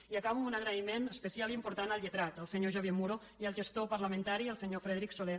i acabo amb un agraïment especial i important al lletrat el senyor xavier muro i al gestor parlamentari el senyor frederic solé